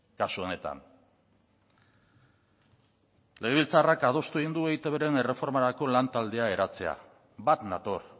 kasu honetan legebiltzarrak adostu egin du eitbren erreformarako lantaldea eratzea bat nator